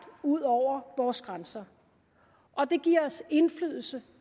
ud over vores grænser og det giver os indflydelse